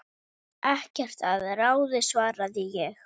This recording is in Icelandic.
Ekkert að ráði svaraði ég.